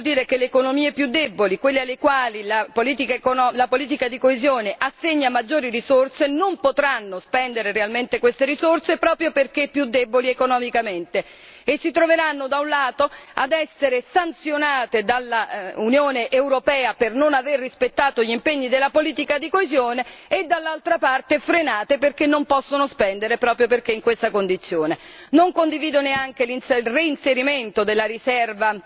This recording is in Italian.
Questo vuol dire che le economie più deboli, quelle alle quali la politica di coesione assegna maggiori risorse, non potranno spendere realmente queste risorse, proprio perché più deboli economicamente e si troveranno, da un lato, ad essere sanzionate dall'Unione europea per non aver rispettato gli impegni della politica di coesione e, dall'altro, saranno frenate perché non possono spendere proprio perché in questa condizione. Non condivido neppure il reinserimento della riserva